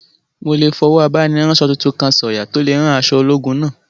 Mo lè fọwọ́ abániránsọ tuntun kan sọ̀yà tó lè rán aṣọ ológun náà